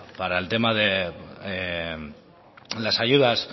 para el tema de las ayudas